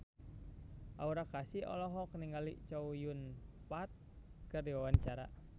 Aura Kasih olohok ningali Chow Yun Fat keur diwawancara